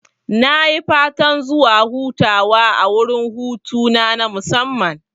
Nayi fatan zuwa hutawa a wurin hutu na musamman